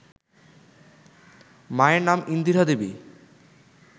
মায়ের নাম ইন্দিরা দেবী